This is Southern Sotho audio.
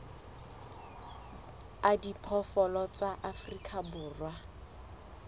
a diphoofolo tsa afrika borwa